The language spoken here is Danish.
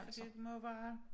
Det må være